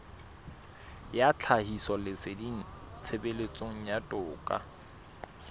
ya tlhahisoleseding tshebetsong ya toka